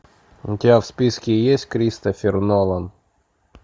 у тебя в списке есть кристофер нолан